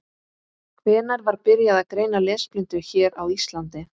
Hvenær var byrjað að greina lesblindu hér á Íslandi?